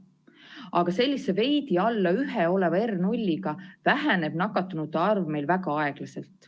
Aga sellise veidi alla 1 oleva R0-ga väheneb nakatunute arv meil väga aeglaselt.